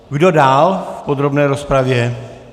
Kdo dál v podrobné rozpravě?